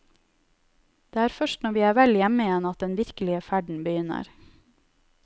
Det er først når vi er vel hjemme igjen at den virkelige ferden begynner.